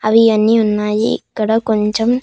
అవి అన్నీ ఉన్నాయి ఇక్కడ కొంచం--